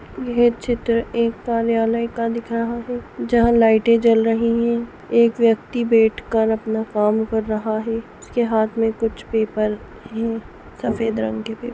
यह चित्र एक कार्यालय का दिख रहा है जहाँ लाइटे जल रही है | एक व्यक्ति बैठ कर अपना काम कर रहा है उसके हाथ में कुछ पेपर है सफेद रंग के पे--